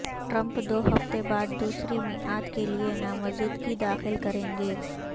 Trump دو ہفتے بعد دوسری میعاد کیلئے نامزدگی داخل کریں گے